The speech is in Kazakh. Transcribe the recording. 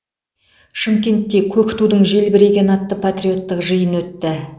шымкентте көк тудың желбірегені атты патриоттық жиын өтті